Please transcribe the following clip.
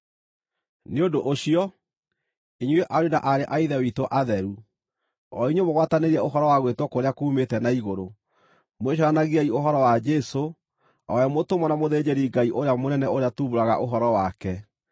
Nĩ ũndũ ũcio, inyuĩ ariũ na aarĩ a Ithe witũ atheru, o inyuĩ mũgwatanĩire ũhoro wa gwĩtwo kũrĩa kuumĩte na igũrũ, mwĩcũranagiei ũhoro wa Jesũ, o we mũtũmwo na mũthĩnjĩri-Ngai ũrĩa mũnene ũrĩa tuumbũraga ũhoro wake.